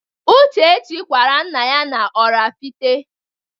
Uchechukwu kwara nna ya na-Oraifite.